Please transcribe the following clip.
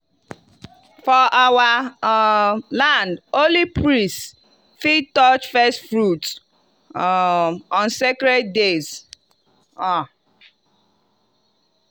for our um land only priest fit touch first fruit um on sacred days. um